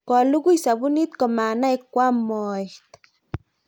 kolugui sabuni ko manai koam moet